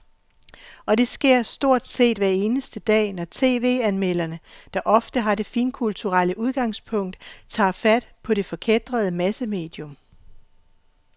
Og det sker stort set hver eneste dag, når tv-anmelderne, der ofte har det finkulturelle udgangspunkt, tager fat på det forkætrede massemedium.